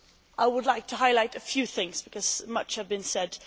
I would like to highlight a few things, because much has been said.